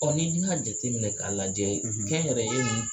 ni dun y'a jateminɛ k'a lajɛ, , kɛnyɛrɛye ninnu